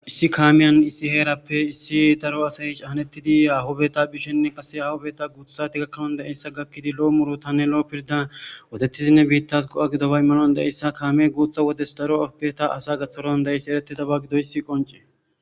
issi kaamiyan issi heerappe issi daro asayi chahanettidi ahubeta bishenne qase ahubeta guuthati gakkanon de7eyssa gakkidi lo7o muro tanne lo7o pirda wodettidinne biittas go7a gidobay malon deeyssa kaamee guutha wodes daro arobeta asa gatharon deeyss eretidaba gidoysi qonce